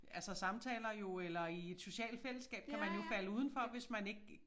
Altså samtaler jo eller i et socialt fællesskab kan man jo falde udenfor hvis man ikke